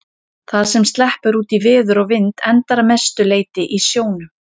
Það sem sleppur út í veður og vind endar að mestu leyti í sjónum.